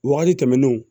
Wagati tɛmɛnenw